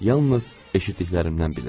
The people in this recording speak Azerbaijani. Yalnız eşitdiklərimdən bilirəm.